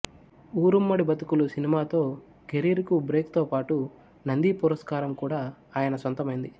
ఊరుమ్మడి బతుకులు సినిమాతో కెరీర్ కు బ్రేక్ తో పాటు నంది పురస్కారం కూడా ఆయన సొంతమైంది